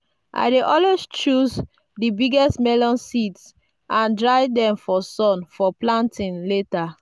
i dey always choose the biggest melon seeds and dry them for sun for planting later.